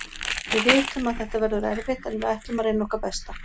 Við vitum að þetta verður erfitt en við ætlum að reyna okkar besta.